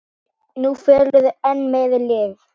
Nú fellur enn meira lið.